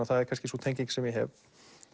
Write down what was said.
það er kannski sú tenging sem ég hef